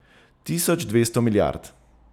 Tisoč dvesto milijard!